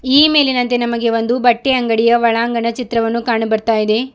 ಈ ಮೇಲಿನಂತೆ ನಮಗೆ ಒಂದು ಬಟ್ಟೆ ಅಂಗಡಿಯ ಒಳಾಂಗಣ ಚಿತ್ರವನ್ನು ಕಂಡು ಬರ್ತಾ ಇದೆ.